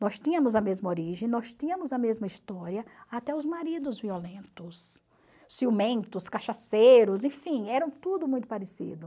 Nós tínhamos a mesma origem, nós tínhamos a mesma história, até os maridos violentos, ciumentos, cachaceiros, enfim, eram tudo muito parecidos.